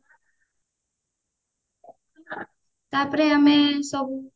ତାପରେ ଆମେ ସବୁ